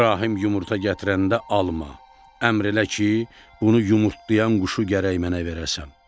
İbrahim yumurta gətirəndə alma, əmr elə ki, bunu yumurtlayan quşu gərək mənə verəsən.